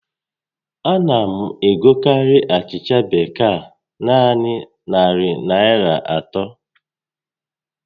A na m egokarị achịcha bekee a naanị narị Naịra atọ